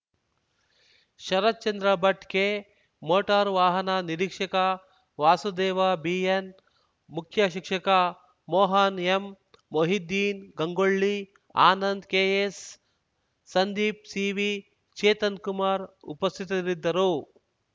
Sharatchandra Bhat K motor ವಾಹನ ನಿರೀಕ್ಷಕ Vasudeva BN ಮುಖ್ಯ ಶಿಕ್ಷಕ Mohan M Mohiddeen Gangolli Anand KS Sandeep CV Chetan Kumar ಉಪಸ್ಥಿತರಿದ್ದರು